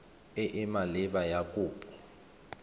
e e maleba ya kopo